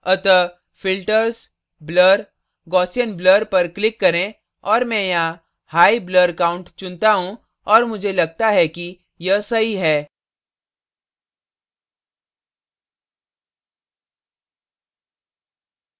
अतः filters blur gaussian blur पर click करें और मैं यहाँ high high blur count चुनता हूँ और मुझे लगता है कि यह सही है